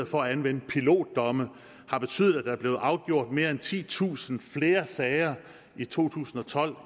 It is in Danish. for at anvende pilotdomme har betydet at der er blevet afgjort mere end titusind flere sager i to tusind og tolv